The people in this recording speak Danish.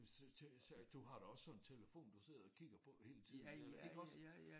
Men så så så du har da også sådan en telefon du sidder og kigger på hele tiden eller iggås?